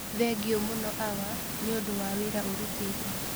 Thengio mũno Hawa nĩundũ wa wĩra ũrutĩte